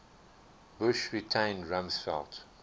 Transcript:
bush retained rumsfeld